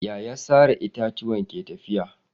Yaya sare itatuwa ke tafiya?